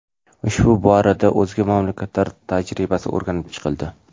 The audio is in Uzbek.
Ushbu borada o‘zga mamlakatlar tajribasi o‘rganib chiqildi.